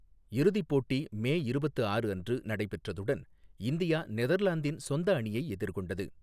இறுதிப் போட்டி மே இருபத்து ஆறு அன்று நடைபெற்றதுடன் இந்தியா நெதர்லாந்தின் சொந்த அணியை எதிர்கொண்டது.